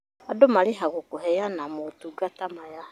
Andũ marĩhagwo kũheana motungata maya